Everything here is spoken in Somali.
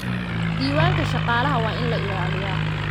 Diiwaanka shaqaalaha waa in la ilaaliyaa.